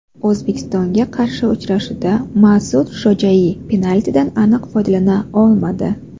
O‘zbekistonga qarshi uchrashuvda Mas’ud Shojaiy penaltidan aniq foydalana olmadi.